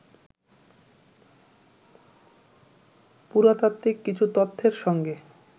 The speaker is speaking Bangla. পুরাতাত্ত্বিক কিছু তথ্যের সঙ্গে